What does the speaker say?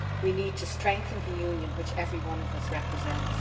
we need to strengthen the Union which every one of us represents.